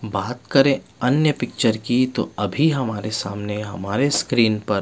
बात करे अन्य पिक्चर की तो अभी हमारे सामने हमारे स्क्रीन पर --